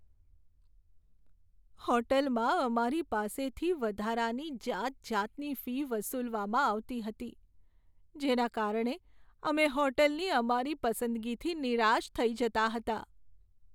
હોટેલમાં અમારી પાસેથી વધારાની જાતજાતની ફી વસૂલવામાં આવતી હતી, જેના કારણે અમે હોટલની અમારી પસંદગીથી નિરાશ થઈ જતા હતા.